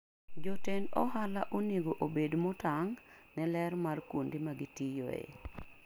Jotend ohala onego obed motang' ne ler mar kuonde ma gitiyoe.